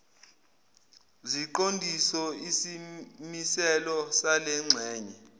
ziqondiso isimiselo salengxenye